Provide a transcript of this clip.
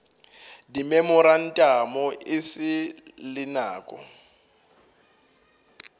dimemorantamo e sa le nako